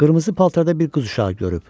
Qırmızı paltarda bir qız uşağı görüb.